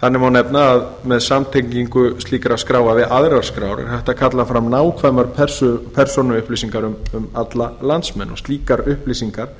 þannig má nefna að með samtengingu slíkra skráa við aðrar skrár er hægt að kalla fram nákvæmar persónuupplýsingar um alla landsmenn slíkar upplýsingar